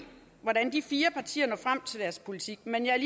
hvordan de fire partier når frem til deres politik men jeg